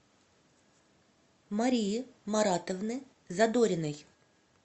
марии маратовны задориной